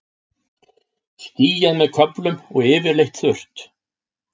Skýjað með köflum og yfirleitt þurrt